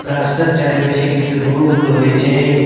রাস্তার চারিপাশে কিছু রুম রয়েছে।